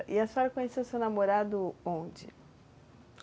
E a senhora conheceu o seu namorado onde?